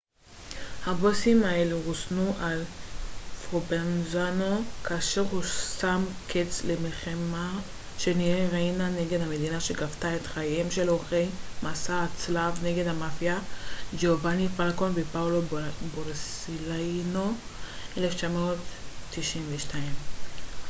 הבוסים האלו רוסנו על ידי פרובנזאנו כאשר הוא שם קץ למלחמה שניהל ריינה נגד המדינה שגבתה את חייהם של עורכי מסע הצלב נגד המאפיה ג'ובאני פלקון ופאולו בורסלינו ב-1992